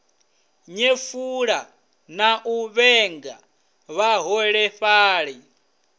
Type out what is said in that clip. nyefula na u vhenga vhaholefhali